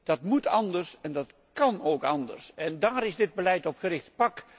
Dat moet anders en dat kan ook anders. En daar is dit beleid op gericht.